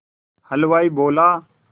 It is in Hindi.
हलवाई बोला